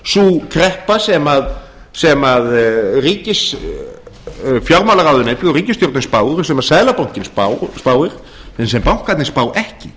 raun og veru sú kreppa sem fjármálaráðuneytið og ríkisstjórnin spá og sem seðlabankinn spáir en sem bankarnir spá ekki